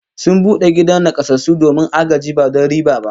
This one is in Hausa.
Sun bude gidan nakasassu domin agaji ba don riba ba